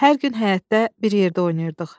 Hər gün həyətdə bir yerdə oynayırdıq.